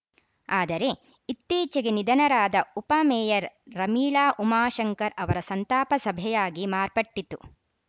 ಆದರೆ ಇತ್ತೀಚೆಗೆ ನಿಧನರಾದ ಉಪಮೇಯರ್‌ ರಮೀಳಾ ಉಮಾಶಂಕರ್‌ ಅವರ ಸಂತಾಪ ಸಭೆಯಾಗಿ ಮಾರ್ಪಟ್ಟಿತ್ತು